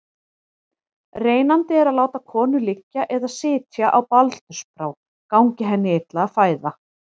Reynandi er að láta konu liggja eða sitja á baldursbrá gangi henni illa að fæða.